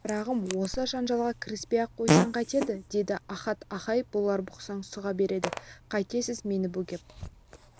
шырағым осы жанжалға кіріспей-ақ қойсаң қайтеді деді ахат аха-ай бұлар бұқсаң сұға береді қайтесіз мені бөгеп